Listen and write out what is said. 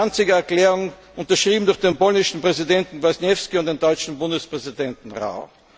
an die Danziger Erklärung, unterschrieben durch den polnischen Präsidenten Kwasniewski und den deutschen Bundespräsidenten Rau.